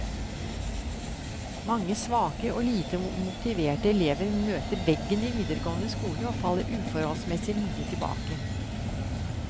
Mange svake og lite motiverte elever møter veggen i videregående skole og faller uforholdsmessig mye tilbake.